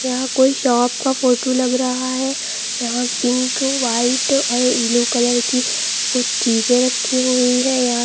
यहां कोई शॉप का फोटो लग रहा है यहां पिंक वाइट और ब्लू कलर की कुछ चीजें रखी हुई हैं यहां--